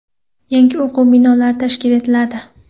Yangi o‘quv binolari tashkil etiladi.